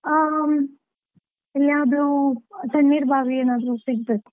ಆ, ಎಲ್ಲಿಯಾದ್ರೂ ತಣ್ಣೀರ್ ಬಾವಿ ಏನಾದ್ರೂ ಸಿಕ್ತದೆ.